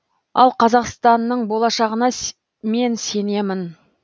ал қазақстанның болашағына мен сенемін